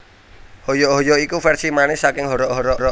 Hoyok hoyok iku versi manis saking Horok Horok